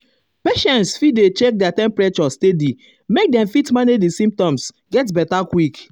patients fit dey check their temperature steady make dem fit manage di symptoms get beta quick.